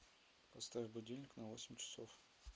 поставь будильник на восемь часов